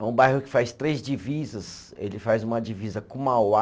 É um bairro que faz três divisas, ele faz uma divisa com Mauá,